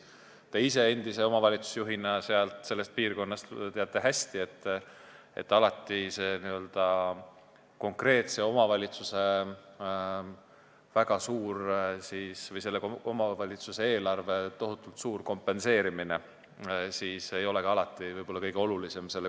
Te ise oma piirkonna endise omavalitsusjuhina teate hästi, et alati ei ole omavalitsuse eelarve tohutult suur kompenseerimine selle konkreetse omavalitsuse piires võib-olla kõige olulisem.